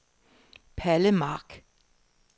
Palle Mark